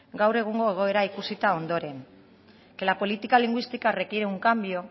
gaur egungo egoera ikusita ondoren que la política lingüística requiere un cambio